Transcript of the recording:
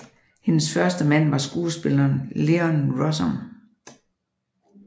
Hendes første mand var skuespilleren Leon Russom